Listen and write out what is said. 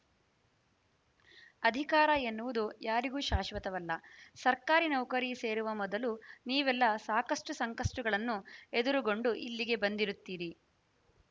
ಅಧಿಕಾರ ಎನ್ನುವುದು ಯಾರಿಗೂ ಶಾಶ್ವತವಲ್ಲ ಸರ್ಕಾರಿ ನೌಕರಿ ಸೇರುವ ಮೊದಲು ನೀವೆಲ್ಲ ಸಾಕಷ್ಟುಸಂಕಷ್ಟಗಳನ್ನು ಎದುರುಗೊಂಡು ಇಲ್ಲಿಗೆ ಬಂದಿರುತ್ತೀರಿ